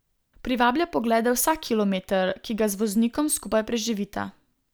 Privablja poglede vsak kilometer, ki ga z voznikom skupaj preživita.